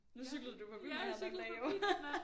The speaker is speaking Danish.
Nu cyklede du forbi mig her den anden dag jo